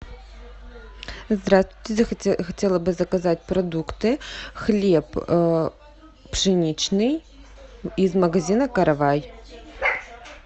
здравствуйте хотела бы заказать продукты хлеб пшеничный из магазина каравай